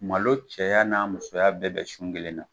Malo cɛya n'a musoya bɛɛ be sun kelen na